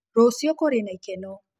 Rũcĩũ kũrĩ na ĩkeno.